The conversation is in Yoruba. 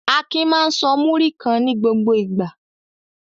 Akin máa ń sọ múrí kan ní gbogbo ìgbà.